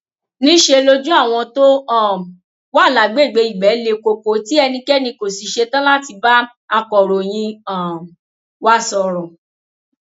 níṣẹ lojú àwọn tó um wà lágbègbè ibẹ le koko tí ẹnikẹni kò sì ṣetán láti bá akọròyìn um wa sọrọ